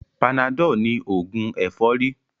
Panadol ní ògùn ẹ̀fọ́rí